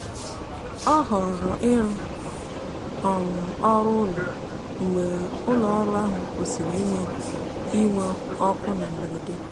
ọ họọrọ ịrụ um ọrụ n'ụlọ mgbe ụlọọrụ ahụ kwụsịrị inwe inwe ọkụ na mberede.